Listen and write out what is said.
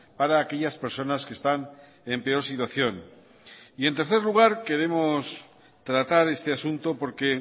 para aquellas personas que están en peor situación y en tercer lugar queremos tratar este asunto porque